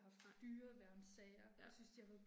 Nej. Ja